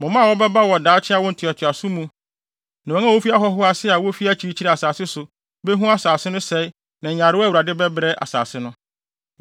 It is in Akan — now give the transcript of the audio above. Mo mma a wɔbɛba wɔ daakye awo ntoatoaso mu no ne wɔn a wofi ahɔho ase a wofi akyirikyiri asase so behu asase no sɛe ne nyarewa a Awurade de bɛbrɛ asase no.